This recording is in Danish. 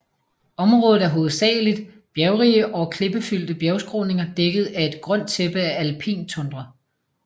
Området er hovedsageligt bjergrige og klippefyldte bjergskråninger dækket af et grønt tæppe af alpin tundra